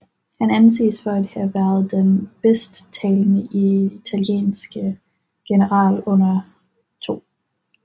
Han anses for at have været den bedste italienske general under 2